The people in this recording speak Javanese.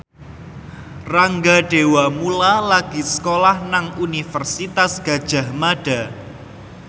Rangga Dewamoela lagi sekolah nang Universitas Gadjah Mada